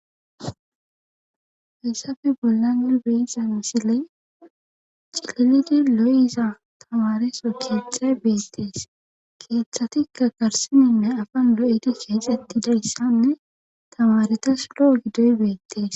hesafe bollanne boyiza misiley cililidi lo7iza tamareso keethay beestees keeththatikka garsininne afan lo7edi heexetidayssanne tamaretas lo7o giddoy beettees